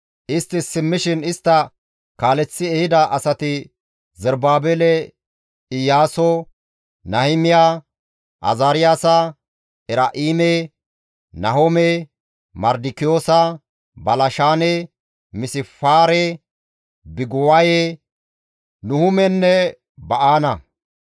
Istti simmishin istta kaaleththi ehida asati Zerubaabele, Iyaaso, Nahimiya, Azaariyaasa, Eraa7ime, Nahome, Mardikiyoosa, Balshaane, Misifaare, Biguwaye, Nuhumenne Ba7aana.